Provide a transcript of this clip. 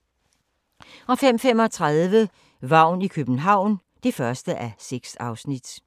05:35: Vagn i København (1:6)